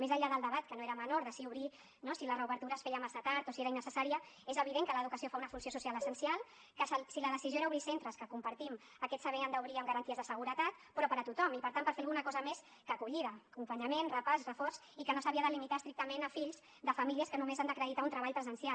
més enllà del debat que no era menor de si obrir no si la reobertura es feia massa tard o si era innecessària és evident que l’educació fa una funció social essencial que si la decisió era obrir centres que compartim aquests s’havien d’obrir amb garanties de seguretat però per a tothom i per tant per fer alguna cosa més que acollida acompanyament repàs reforç i que no s’havia de limitar estrictament a fills de famílies que només han d’acreditar un treball presencial